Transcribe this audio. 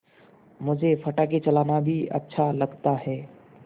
मुझे पटाखे चलाना भी अच्छा लगता है